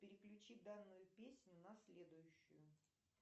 переключи данную песню на следующую